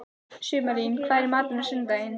Sumarlín, hvað er í matinn á sunnudaginn?